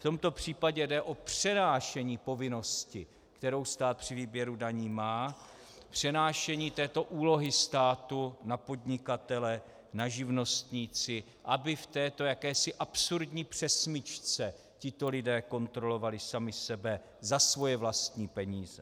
V tomto případě jde o přenášení povinnosti, kterou stát při výběru daní má, přenášení této úlohy státu na podnikatele, na živnostníky, aby v této jakési absurdní přesmyčce tito lidé kontrolovali sami sebe za své vlastní peníze.